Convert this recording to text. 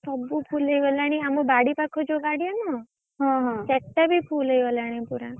ସବୁ full ହେଇଗଲାଣି ଆମ ବାଡି ପାଖ ଯୋଉ ଗାଡିଆ ନୁହଁ ସେଟା ବି full ହେଇଗଲାଣି ପୁରା,